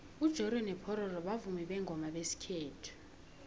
ujoriyo nopororo bavumi bengoma zesikhethu